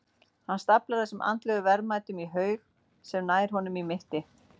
Hann staflar þessum andlegu verðmætum í haug sem nær honum í mitti.